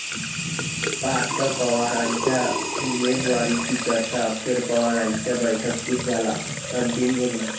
पार्थ पवारांच्या उमेदवारीची चर्चा, अखेर पवारांच्या बैठकीत झाला अंतिम निर्णय